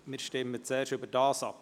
Wir stimmen zuerst über diesen ab.